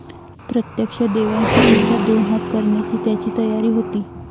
प्रत्यक्ष देवांशी सुद्धा दोन हात करण्याची त्याची तयारी होती.